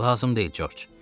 Lazım deyil, Corc.